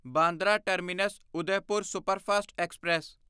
Bandra terminus Udaipur superfast express